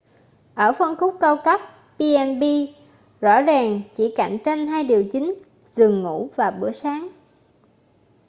ở phân khúc cao cấp b&bs rõ ràng chỉ cạnh tranh hai điều chính: giường ngủ và bữa sáng